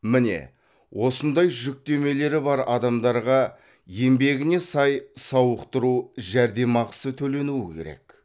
міне осындай жүктемелері бар адамдарға еңбегіне сай сауықтыру жәрдемақысы төлену керек